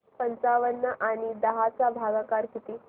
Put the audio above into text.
पंचावन्न आणि दहा चा भागाकार किती